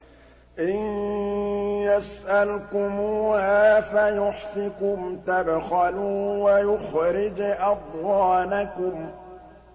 إِن يَسْأَلْكُمُوهَا فَيُحْفِكُمْ تَبْخَلُوا وَيُخْرِجْ أَضْغَانَكُمْ